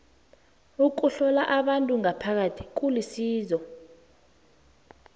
ukuhlola abantu ngaphakathi kulisizo